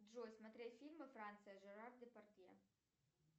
джой смотреть фильмы франция жерар депардье